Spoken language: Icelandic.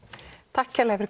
takk kærlega fyrir